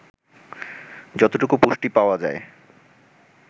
যতটুকু পুষ্টি পাওয়া যায়